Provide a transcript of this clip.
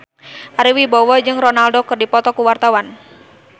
Ari Wibowo jeung Ronaldo keur dipoto ku wartawan